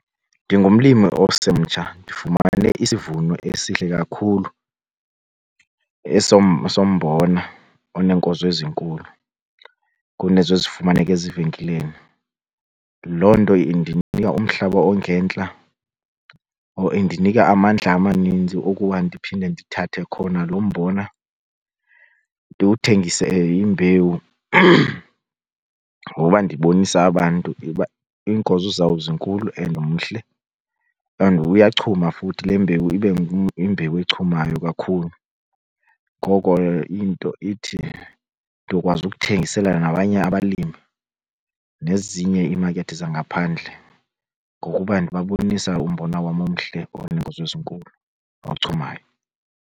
Ndingumlimi osemtsha ndifumane isivuno esihle kakhulu esombona oneenkozo ezinkulu kunezo ezifumaneka ezivenkileni. Loo nto indinika umhlaba ongentla or indinika amandla amaninzi okuba ndiphinde ndithathe khona lo mbona ndiwuthengise imbewu ngoba ndibonisa abantu uba iinkozo zawo zinkulu and mhle and uyachuma futhi le mbewu ibe yimbewu echumayo kakhulu. Ngoko into ithi ndizokwazi ukuthengisela nabanye abalimi nezinye iimakethi zangaphandle ngokuba ndibabonisa umbona wam omhle oneenkozo ezinkulu, ochumayo.